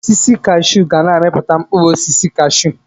Osisi kashuu ga na-amipụta mkpụrụ osisi kashuu